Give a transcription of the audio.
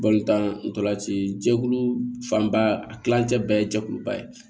ntolanci jɛkulu fanba a kilancɛ bɛ ye jɛkuluba ye